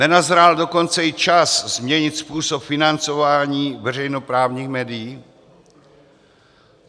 Nenazrál dokonce i čas změnit způsob financování veřejnoprávních médií?